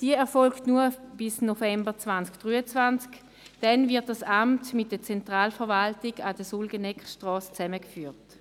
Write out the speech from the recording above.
Diese erfolgt nur bis 2023, denn dann wird das Amt zusammen mit der Zentralverwaltung an der Sulgeneckstrasse zusammengeführt.